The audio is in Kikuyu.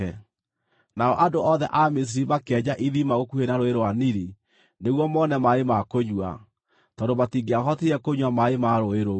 Nao andũ othe a Misiri makĩenja ithima gũkuhĩ na Rũũĩ rwa Nili nĩguo mone maaĩ ma kũnyua, tondũ matingĩahotire kũnyua maaĩ ma rũũĩ rũu.